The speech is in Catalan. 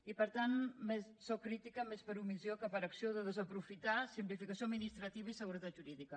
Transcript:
i per tant sóc crítica més per omissió que per acció de desaprofitar simplificació administrativa i seguretat jurídica